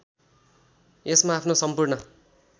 यसमा आफ्नो सम्पूर्ण